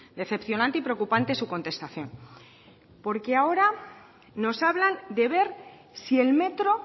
decepcionante y preocupante su contestación porque ahora nos hablan de ver si el metro